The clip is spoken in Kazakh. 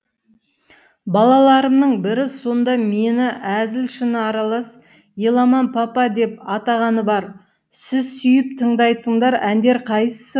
балаларымның бірі сонда мені әзіл шыны аралас еламан папа деп атағаны бар сіз сүйіп тыңдайтындар әндер қайсы